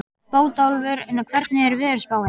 Bótólfur, hvernig er veðurspáin?